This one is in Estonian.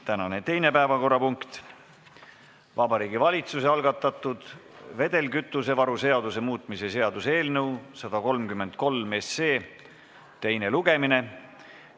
Tänane teine päevakorrapunkt: Vabariigi Valitsuse algatatud vedelkütusevaru seaduse muutmise seaduse eelnõu 133 teine lugemine.